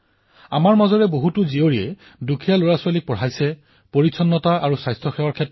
যিদৰে আমি সকলোৱে লগ হৈ এটা মহা অভিযানৰ সূচনা কৰিছিলো যে ছেলফি উইথ ডটাৰ আৰু সেয়া সমগ্ৰ বিশ্বতে সম্প্ৰসাৰিত হৈ পৰিছিল